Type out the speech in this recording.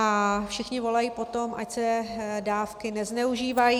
A všichni volají po tom, ať se dávky nezneužívají.